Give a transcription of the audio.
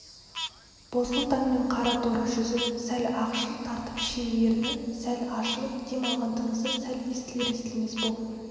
бозғыл таңмен қара торы жүзі сәл ақшыл тартып шие ерні сәл ашылып дем алған тынысы сәл естілер-естілмес боп